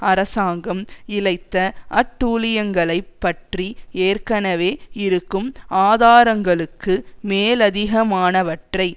அரசாங்கம் இழைத்த அட்டூழியங்களைப் பற்றி ஏற்கனவே இருக்கும் ஆதாரங்களுக்கு மேலதிகமானவற்றை